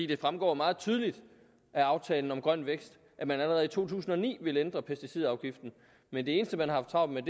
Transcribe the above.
det fremgår meget tydeligt af aftalen om grøn vækst at man allerede i to tusind og ni ville ændre pesticidafgiften men det eneste man har haft travlt med